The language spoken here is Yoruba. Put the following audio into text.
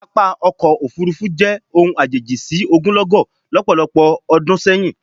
Pápá ọkọ̀ òfuurufú jẹ́ ohun àjèjì sí ogunlọ́gọ̀ lọ́pọ̀lọpọ̀ ọdún sẹ́yìn